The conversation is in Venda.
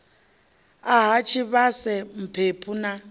a ha tshivhase mphephu na